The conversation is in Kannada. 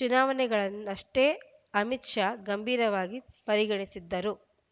ಚುನಾವಣೆಗಳನ್ನಷ್ಟೇ ಅಮಿತ್‌ ಶಾ ಗಂಭೀರವಾಗಿ ಪರಿಗಣಿಸಿದ್ದರು